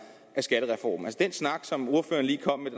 af skattereformen altså den snak som ordføreren lige kom med